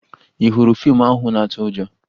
Ị hụrụ fiimu ahụ na-atụ ụjọ?